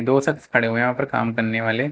दो शख्स खड़े हुए हैं यहां पर काम करने वाले।